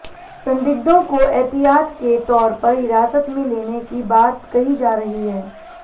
संदिग्धों को एहतियात के तौर पर हिरासत में लेने की बात कही जा रही है